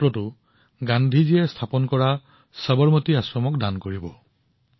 তেওঁ এই অভিযানত গান্ধীজীৰ দ্বাৰা স্থাপিত সবৰমতী আশ্ৰমত এক লাখতম পাত্ৰটো দান কৰিব